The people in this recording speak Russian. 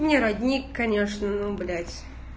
не родник конечно но блять